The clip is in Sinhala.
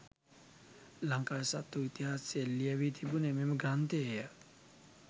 ලංකාවේ සත්‍ය වූ ඉතිහාසය ලියැවී තිබුණේ මෙම ග්‍රන්ථයේ ය.